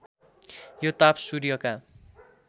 यो ताप सूर्यका